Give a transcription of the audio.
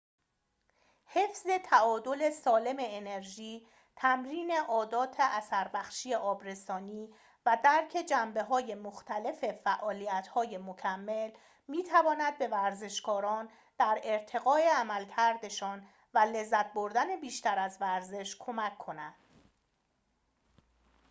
حفظ تعادل سالم انرژی تمرین عادات اثربخش آبرسانی و درک جنبه‌های مختلف فعالیت‌های مکمل می‌تواند به ورزشکاران در ارتقای عملکردشان و لذت بردن بیشتر از ورزش کمک کند